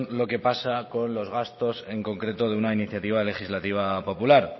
lo que pasa con los gastos en concreto de una iniciativa legislativa popular